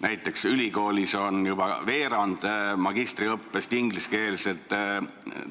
Näiteks on ülikoolis juba veerand magistriõppest ingliskeelne,